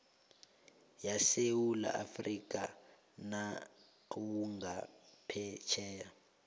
yesewula afrika nawungaphetjheya